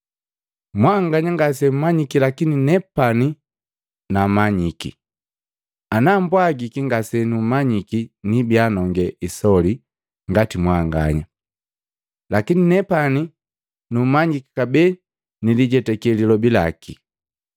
Mwanganya ngasemumanyiki lakini nepani numanyiki. Ana mbwagiki ngasenumanyiki nibiya nonge isoli ngati mwanganya, lakini nepani numanyiki kabee nilijetake lilobi laki.